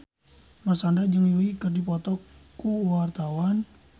Marshanda jeung Yui keur dipoto ku wartawan